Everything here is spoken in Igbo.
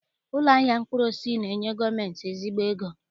Ụlọ ahịa mkpụrụosisi na-enye gọọmentị ezigbo ego